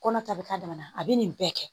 Kɔnɔ ta bɛ k'a dama na a bɛ nin bɛɛ kɛ